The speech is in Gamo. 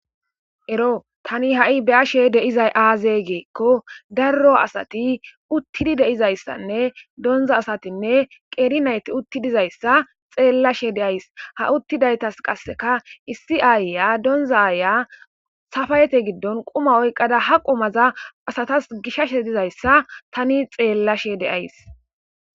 ero tani ha7i beashe deizay aaze geekko darro asati uttidi deizayssanne donza asatinne qeeri nayti utti dizayssa xeellashe deays ha uttidaytas qasseka issi aayya donzaaaya safayete giddon quma oyqada ha qumaza asatas gishashe dizayssa tani xeellashe deays